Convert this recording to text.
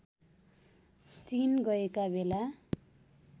चीन गएका बेला